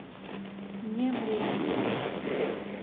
вне времени